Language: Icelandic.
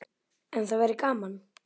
En það væri gaman.